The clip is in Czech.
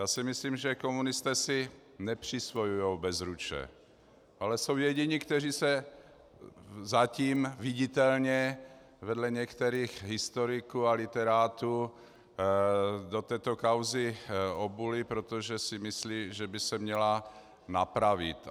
Já si myslím, že komunisté si nepřisvojují Bezruče, ale jsou jediní, kteří se zatím viditelně vedle některých historiků a literátů do této kauzy obuli, protože si myslí, že by se měla napravit.